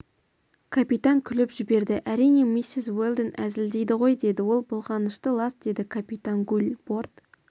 капитан күліп жіберді әрине миссис уэлдон әзілдейді ғой деді ол былғанышты лас деді капитан гуль борт